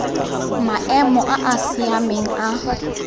maemo a a siameng a